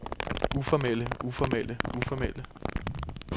uformelle uformelle uformelle